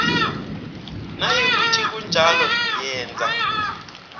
nayikuthi kunjalo yenza